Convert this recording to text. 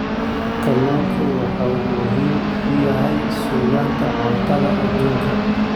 Kalluunku waxa uu muhiim u yahay sugnaanta cuntada adduunka.